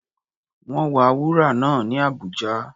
Wọ́n wa wúrà náà ní Abuja.